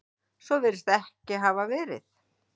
Svo virðist ekki hafa verið